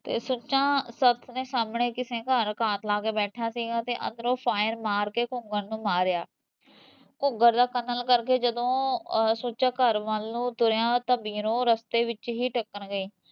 ਤੇ ਸੁੱਚਾ ਸੱਥ ਦੇ ਸਾਹਮਣੇ ਕਿਸੇ ਦੇ ਘਰ ਘਾਤ ਲਾਕੇ ਬੈਠਾ ਸੀਗਾ ਤੇ ਅੰਦਰੋਂ fire ਮਾਰਕੇ ਘੂਗਰ ਨੂੰ ਮਾਰਿਆ ਘੂਗਰ ਦਾ ਕਤਲ ਕਰਕੇ ਜਦੋਂ ਸੁੱਚਾ ਘਰ ਵੱਲ ਨੂੰ ਤੁਰਿਆ ਤਾਂ ਬੀਰੋਂ ਰਸਤੇ ਵਿੱਚ ਹੀਂ ਟੱਕਰ ਗਈ